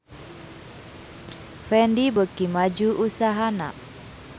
Fendi beuki maju usahana